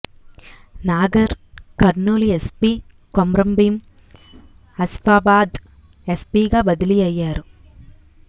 Nagar Kurnool SP Komaram Bheem Asifabad ఎస్పిగా బదిలీ అయ్యారు